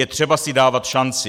Je třeba si dávat šanci.